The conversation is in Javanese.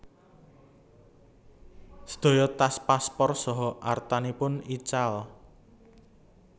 Sedaya tas paspor saha artanipun ical